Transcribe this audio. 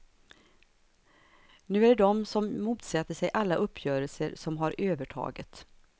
Nu är det de som motsätter sig alla uppgörelser som har övertaget.